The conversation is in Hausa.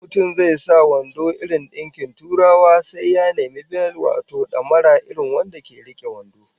In mutum zai sa wando irin dinkin Turawa sai ya nemi bel wato damara irin wanda ke rike wando